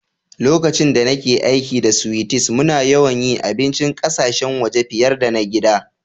Lokacin da nake aiki da sweeties, muna yawan yi abincin ƙasashen waje fiyar da na gida.